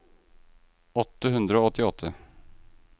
åtte hundre og åttiåtte